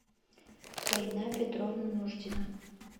фаина петровна нуждина